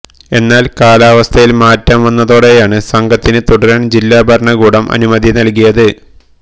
എന്നാല് കാലാവസ്ഥയില് മാറ്റം വന്നതോടെയാണ് സംഘത്തിന് തുടരാന് ജില്ലാ ഭരണകൂടം അനുമതി നല്കിയത്